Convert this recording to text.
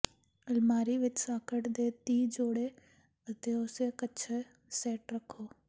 ਅਲਮਾਰੀ ਵਿਚ ਸਾਕਟ ਦੇ ਤੀਹ ਜੋੜੇ ਅਤੇ ਉਸੇ ਕੱਛਾ ਸੈੱਟ ਰੱਖੋ